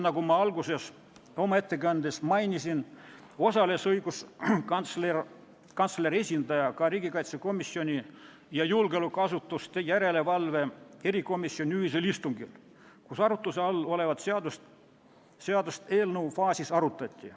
Nagu ma oma ettekande alguses mainisin, osales õiguskantsleri esindaja ka riigikaitsekomisjoni ja julgeolekuasutuste järelevalve erikomisjoni ühisel istungil, kus arutluse all olevat seadust eelnõu faasis arutati.